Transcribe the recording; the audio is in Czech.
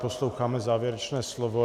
Posloucháme závěrečné slovo.